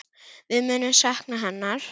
Við munum sakna hennar.